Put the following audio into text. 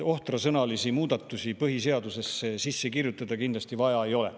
Ohtrasõnalisi muudatusi põhiseadusesse sisse kirjutada kindlasti vaja ei ole.